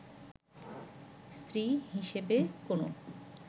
স্ত্রী হিসেবে কোন